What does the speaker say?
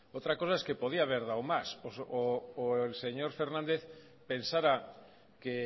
otra cosa es que podía haber dado más o el señor fernández pensara que